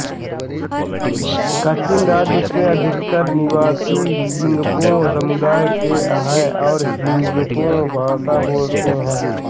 कचिन राज्य के अधिकतर निवासी जिन्गपो समुदाय के हैं और जिन्गपो भाषा बोलते हैं